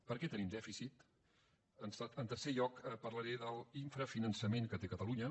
per què tenim dèficit en tercer lloc parlaré de l’infrafinançament que té catalunya